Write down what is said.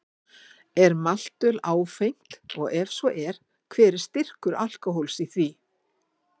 Er maltöl áfengt og ef svo er, hver er styrkur alkóhóls í því?